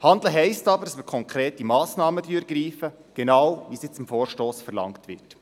Handeln heisst aber, dass wir konkrete Massnahmen ergreifen, genau wie es im Vorstoss verlangt wird.